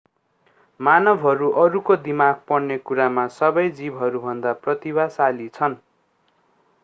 मानवहरू अरूको दिमाग पढ्ने कुरामा सबै जीवहरूभन्दा प्रतिभाशाली छन्